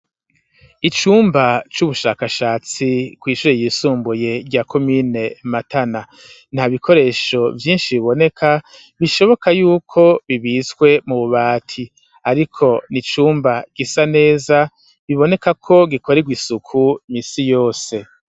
Icumba c'ubushakashatsi, kw'ishure ryisumbuye rya comine matana; nta bikoresho vyinshi biboneka, bishoboka y'uko bibitswe mu bubati, ariko ni icumba gisa neza, biboneka ko gikorerwa isuku minsi yose.